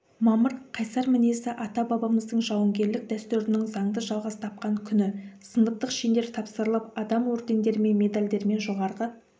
мамырқайсар мінезді ата-бабамыздың жауынгерлік дәстүрінің заңды жалғас тапқан күні сыныптық шендер тапсырылып адам ордендермен медальдармен жоғарғы